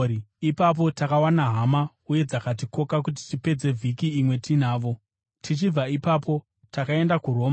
Ipapo takawana hama uye dzakatikoka kuti tipedze vhiki imwe tinavo. Tichibva ipapo takaenda kuRoma.